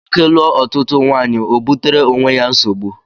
Nwoke lụọ ọtụtụ nwaanyị o butere onwe ya nsogbu